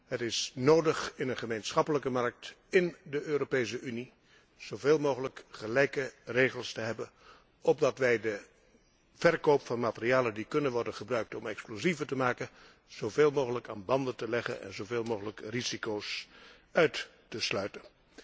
Het is nodig in een gemeenschappelijke markt in de Europese Unie zoveel mogelijk gelijke regels te hebben om de verkoop van materialen die kunnen worden gebruikt om explosieven te maken zoveel mogelijk aan banden te leggen en zoveel mogelijk risico's uit te sluiten.